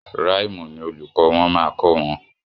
Ràìmù ni olùkọ́ wọn máa kọ wọn.